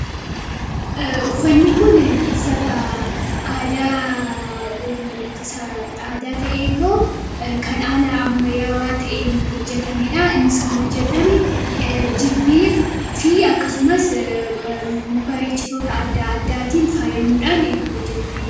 Uffanni kun uffata aadaa ta'eetoo kan haala ammayaawaa ta'een hojjatamedha. Innis kan hojjetame jirbii fi akkasumas bareechitoota adda addaatiin faayyamuudhaan kan hojjatameedha.